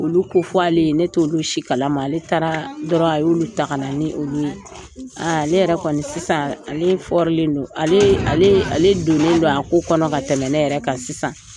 Olu kofɔ ale ye, ne t'olu si kalama. Ale taaraa dɔrɔn a y'olu ta kana ni olu ye. ale yɛrɛ kɔni sisan, ale len don. Alee alee ale donnen don a ko kɔnɔ ka tɛmɛ nɛ yɛrɛ kan sisan.